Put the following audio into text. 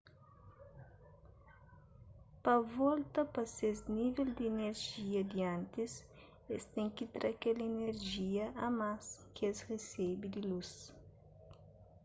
pa volta pa ses nível di inerjia di antis es ten ki tra kel inerjia a más ki es resebe di lus